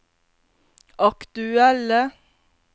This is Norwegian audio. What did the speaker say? aktuelle